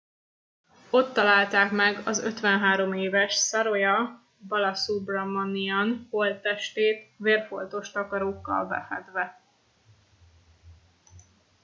ott találták meg az 53 éves saroja balasubramanian holttestét vérfoltos takarókkal befedve